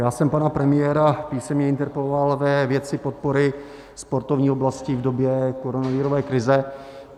Já jsem pana premiéra písemně interpeloval ve věci podpory sportovní oblasti v době koronavirové krize.